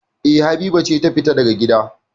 E, Habiba ce ta fita daga gida.